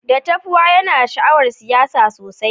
Datapwa yana da sha'awar siyasa sosai.